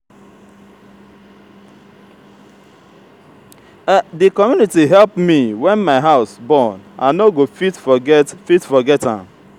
di community help me wen my house burn i no go fit forget fit forget am.